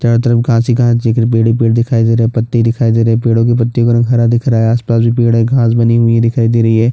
चारो तरफ घाँस ही घाँस पेड़ ही पेड़ दिखाई दे रहे है पत्ते दिखाई दे रहे है पेड़ो की पत्तियों का रंग हरा दिख रहा है आसपास भी पेड़ है घाँस बनी हुई दिखाई दे रही है।